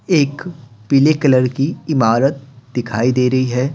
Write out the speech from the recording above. एक पीले कलर की इमारत दिखाई दे रही है।